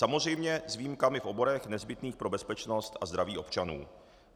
Samozřejmě s výjimkami v oborech nezbytných pro bezpečnost a zdraví občanů.